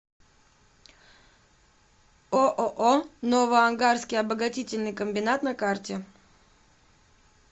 ооо новоангарский обогатительный комбинат на карте